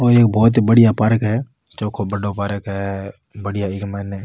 ओ एक बहुत ही बढ़िया पार्क है चोखो बड़ो पार्क है बढ़िया इक माइन --